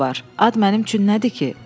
Ad mənim üçün nədir ki?